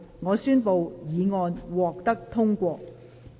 我宣布議案獲得通過。